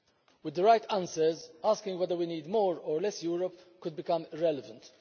With the right answers, asking whether we need more or less Europe could become irrelevant.